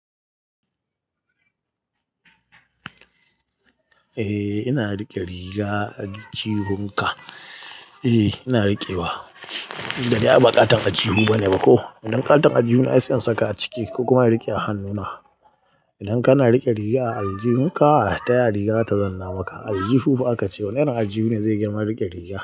Eh ina riƙe riga a aljihun ka. Eh ina riƙewa, gari a ba katon aljihu bane ba ko. Idan katon aljihu ne ai sai saka a ciki kuma ina riƙe a hannuna. Idan kana riƙe riga a aljihun ka, taya riga ta zanna maka? Aljihu fa aka ce wanne aljihu ne zai girma riƙe rigar.